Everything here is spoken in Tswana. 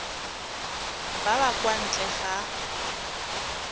ba ba kwa ntle ga